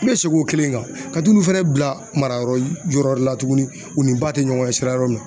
Me segin o kelen kan ka t'olu fɛnɛ bila marayɔrɔ yɔrɔ wɛrɛ la tuguni u ni ba tɛ ɲɔgɔn ɲɛ sira yɔrɔ min na .